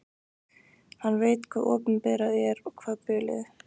Hann veit hvað opinberað er og hvað hulið.